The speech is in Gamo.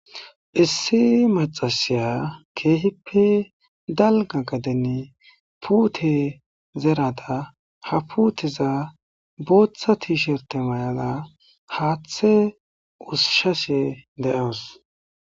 Issi maxasiya keehippe dalga gadeni puute zerada ha putiza booththa tiisherte mayala haathe usshashe de7awus.